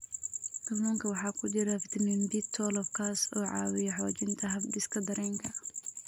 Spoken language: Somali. Kalluunka waxaa ku jira fitamiin B12 kaas oo caawiya xoojinta habdhiska dareenka.